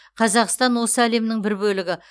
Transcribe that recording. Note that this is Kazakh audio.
қазақстан осы әлемнің бір бөлігі